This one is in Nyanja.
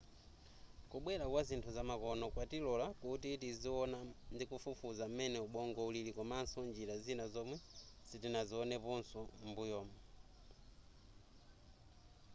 kubwera kwazinthu zamakono kwatilola kuti tiziona ndikufufuza m'mene ubongo ulili komaso njira zina zomwe sitinazioneposo m'mbuyumu